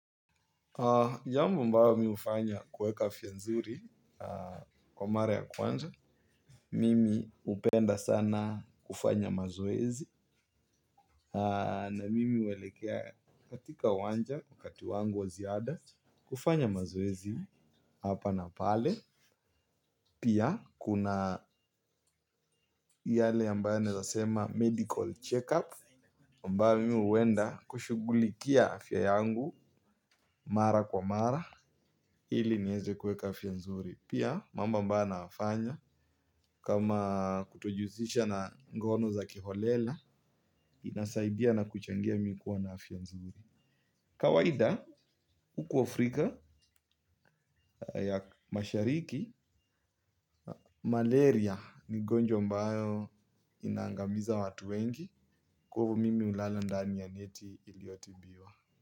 Jambo ambayo mi hufanya kueka afya nzuri kwa mara ya kwanza. Mimi hupenda sana kufanya mazoezi. Na mimi huwelekea katika uwanja wakati wangu wa ziada kufanya mazoezi hapa na pale. Pia kuna yale ambaye naeza sema medical check up ambayo mi huenda kushughulikia afya yangu. Mara kwa mara ili nieze kueka afya nzuri. Pia mambo ambayo naafanya kama kutojihusisha na ngono za kiholela. Inasaidia na kuchangia mi kuwa na afya nzuri. Kawaida huku Afrika ya mashariki Malaria ni ugonjwa ambayo inangamiza watu wengi. Kwa hivyo mimi hulala ndani ya neti iliyotibiwa.